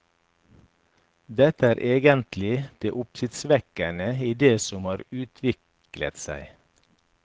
Dette er egentlig det oppsiktsvekkende i det som har utviklet seg.